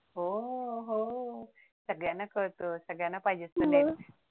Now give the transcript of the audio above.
ओ हो सगळ्यांना काळत सगळ्यांना पाहिजे असत